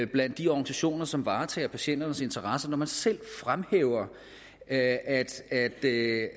blandt de organisationer som varetager patienternes interesser når man selv fremhæver at at det er